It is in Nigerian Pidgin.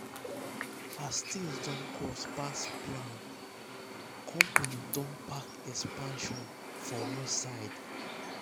as things don cost pass plan pass plan company don park expansion for one side.